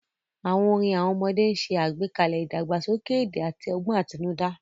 Àwọn orin àwọn ọmọdé ń ṣe àgbékalẹ̀ ìdàgbàsókè èdè àti ọgbọ́n àtinúdá.